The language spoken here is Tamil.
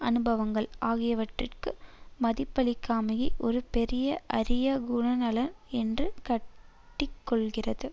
அனுபவங்கள் ஆகியவற்றிற்கு மதிப்பளிக்காமையை ஒரு பெரிய அரிய குணநலன் என்று காட்டிக் கொள்ளுகிறது